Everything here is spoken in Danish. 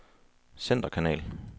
centerkanal